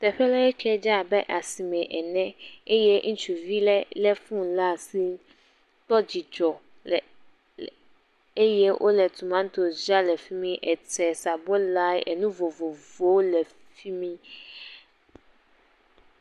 Teƒe ɖe kɛ dze abe asime ene eye ŋutsuvi ɖe le foni ɖe asi kpɔ dzidzɔ le le eye wole tomatosi dzram le fi ma, ete, sabola, enu vovovowo le afi mi.